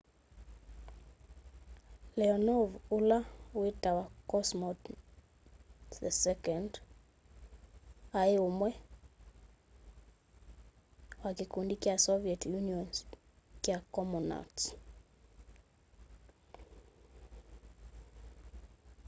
leonov o ũla witawa cosmonaũt no 11 aĩ ũmwe wa kĩkũndĩ kya soviet unioon's kya comonauts